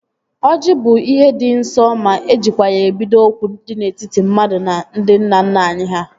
Oji bụ ihe dị nsọ ma ejikwa ya ebido okwu dị n'etiti mmadụ na ndị nna nna anyị ha